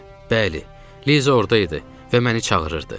Bəli, Liza orda idi və məni çağırırdı.